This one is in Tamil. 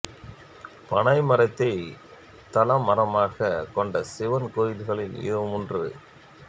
பனை மரத்தை தலமரமாக கொண்ட சிவன் கோவில்களில் இதுவும் ஒன்று